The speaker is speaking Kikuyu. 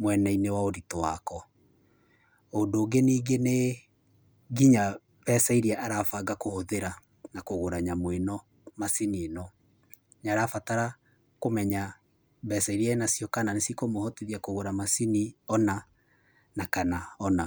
mwena-inĩ wa ũritũ wako. Ũndũ ũngĩ nĩngĩ nĩ nginya mbeca iria arabanga kũhũthĩra na kũgũra nyamũ ĩno, macini ĩno. Nĩarabatara kũmenya kana mbeca iria enacio nĩ cikũmũhotithia kũgũra macini ũna na kana ũna.